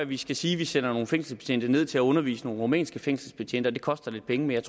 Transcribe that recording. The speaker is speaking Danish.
vi skal sige at vi sender nogle fængselsbetjente ned til at undervise nogle rumænske fængselsbetjente det koster lidt penge men